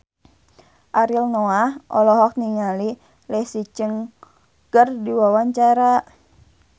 Ariel Noah olohok ningali Leslie Cheung keur diwawancara